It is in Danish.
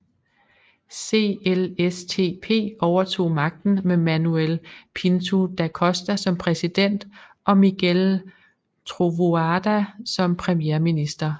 CLSTP overtog magten med Manuel Pinto da Costa som præsident og Miguel Trovoada som premierminister